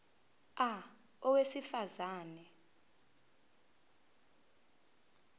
a owesifaz ane